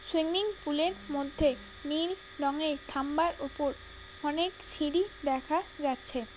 Swimming pool -এর মধ্যে নীল রঙের থাম্বার ওপর অনেক সিঁড়ি দেখা যাচ্ছে।